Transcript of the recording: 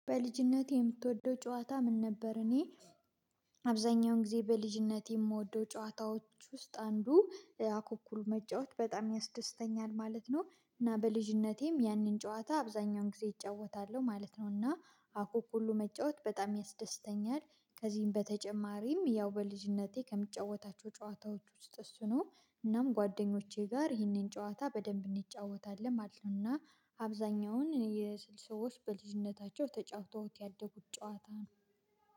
በልጅነቴ የምትወደው ጨዋታ ምን ነበር? እኔ አብዛኛውን ጊዜ በልጅነቴ የምወደው ጨዋታዎች ውስጥ አንዱ አኩኩሉ መጫወት በጣም ያስደስተኛል ማለት ነው። እና በልጅነቴም ያንን ጨዋታ አብዛኛውን ጊዜ እጫወታለሁ ማለት ነው። እና አኩኩሉ መጫወት በጣም ያስደስተኛል። ከዚህም በተጨማሪም ያው በልጅነቴ ከምጫወታቸው ጨዋታዎች ውስጥ እሱ ነው። እናም ጓደኞቼ ጋር ይህንን ጨዋታ በደንብ እንጫወታለን ማለት ነውና። አብዛኛውን የስል ሰዎች በልጅነታቸው ተጫውተውት ያደጉት ጨዋታ።